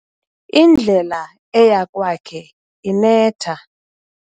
Indlela eya kwakhe inetha.